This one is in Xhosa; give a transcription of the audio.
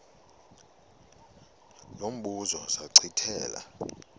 lo mbuzo zachithela